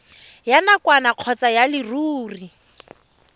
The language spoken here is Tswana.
ya nakwana kgotsa ya leruri